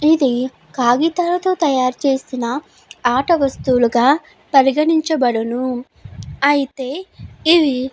ఇది కాగితాల తో తయారు చేస్తున్న ఆట వస్తువులుగా పరిగానీనకగబడును. అయితే ఇవి--